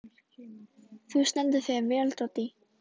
Þú stendur þig vel, Doddý!